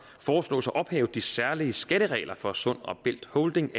foreslås at ophæve de særlige skatteregler for sund og bælt holding